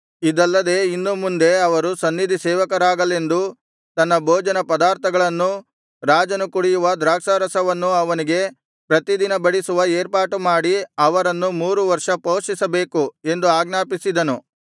ಇದಲ್ಲದೆ ಇನ್ನು ಮುಂದೆ ಅವರು ಸನ್ನಿಧಿಸೇವಕರಾಗಲೆಂದು ತನ್ನ ಭೋಜನ ಪದಾರ್ಥಗಳನ್ನೂ ರಾಜನು ಕುಡಿಯುವ ದ್ರಾಕ್ಷಾರಸವನ್ನೂ ಅವರಿಗೆ ಪ್ರತಿದಿನ ಬಡಿಸುವ ಏರ್ಪಾಡುಮಾಡಿ ಅವರನ್ನು ಮೂರು ವರ್ಷ ಪೋಷಿಸಬೇಕು ಎಂದು ಆಜ್ಞಾಪಿಸಿದನು